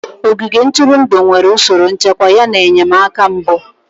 Ogige ntụrụndụ nwere usoro nchekwa yana enyemaka mbụ.